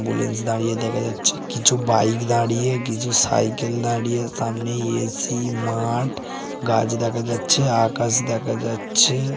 বুলেন্স দাঁড়িয়ে দেখা যাচ্ছে কিছু বাইক দাঁড়িয়ে কিছু সাইকেল দাঁড়িয়ে সামনে এ.সি. মাঠ গাছ দেখা যাচ্ছে আকাশ দেখা যাচ্ছে।